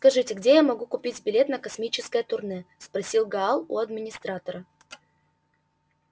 скажите где я могу купить билет на космическое турне спросил гаал у администратора